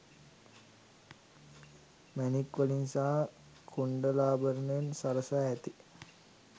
මැණික් වලින් සහ කුණ්ඩලාභරණයෙන් සරසා ඇති